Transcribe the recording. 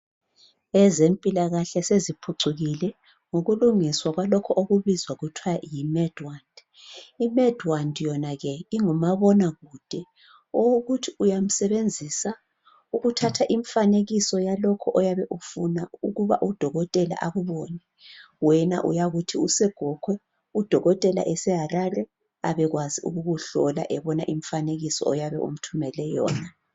ezempilakahle zeziphucukile ukulungiswa kwalokho okubizwa kuthiwa yi MedWand i MedWand yona ke ingumabonakude okokuthi uyayisebenzisa ukuthatha umfanekiso walokho oyabe ufuna u dokotela akubone wena uyathi use Gokwe u dokotela ese Harare udokotela abe kwazi ukukuhlola ebona imfanekiso oyabe umthumele yona